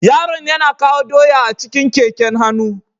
Yaron yana kawo doya a cikin keken hannu.